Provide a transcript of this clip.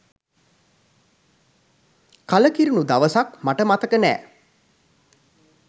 කලකිරුණු දවසක් මට මතක නෑ.